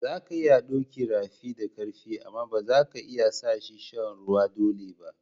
Za ka iya doki rafi da karfi amma ba za ka iya sa shi ya sha ruwa dolle ba.